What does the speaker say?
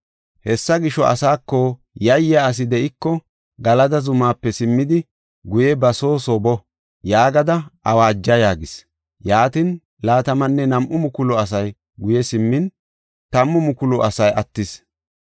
Hessa gisho, asaako, ‘Yayyiya asi de7iko Galada zumaape simmidi guye ba soo soo boo’ yaagada awaaja” yaagis. Yaatin, laatamanne nam7u mukulu asay guye simmin tammu mukulu asi attis.